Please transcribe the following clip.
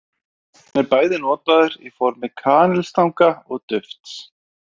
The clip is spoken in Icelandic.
Hann er bæði notaður í formi kanilstanga og dufts.